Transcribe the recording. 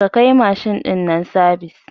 Ka kai mashin ɗin nan sabis